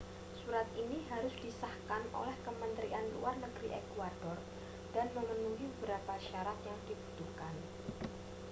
surat ini harus disahkan oleh kementerian luar negeri ekuador dan memenuhi beberapa syarat yang dibutuhkan